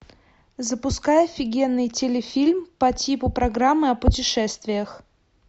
запускай офигенный телефильм по типу программы о путешествиях